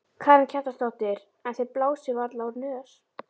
Karen Kjartansdóttir: En þið blásið varla úr nös?